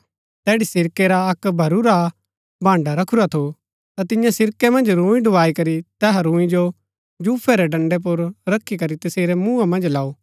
तैड़ी सिरकै रा अक्क भरूरा भान्डा रखुरा थू ता तियें सिरकै मन्ज रूंई डुबाई करी तैहा रूंई जो जूफे रै डंडै पुर रखी करी तसेरै मूँहा मन्ज लाऊ